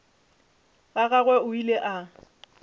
ga gagwe o ile a